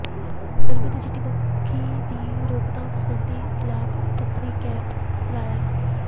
ਨਰਮੇ ਤੇ ਚਿੱਟੀ ਮੱਖੀ ਦੀ ਰੋਕਥਾਮ ਸਬੰਧੀ ਬਲਾਕ ਪੱਧਰੀ ਕੈਂਪ ਲਾਇਆ